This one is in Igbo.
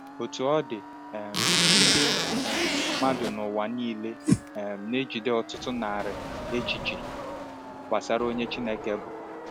Otú ọ dị, um ndị um mmadụ n’ụwa niile um na-ejide ọtụtụ narị echiche gbasara onye Chineke bụ.